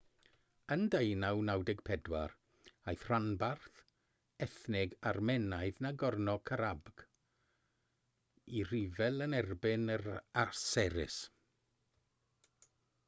yn 1994 aeth rhanbarth ethnig armenaidd nagorno-karabakh i ryfel yn erbyn yr aseris